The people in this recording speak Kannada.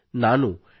ನಾನು ಡಿ